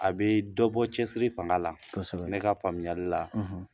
A bɛ dɔ bɔ cɛsiri fanga la ne ka faamuya la